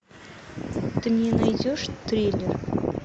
ты мне найдешь триллер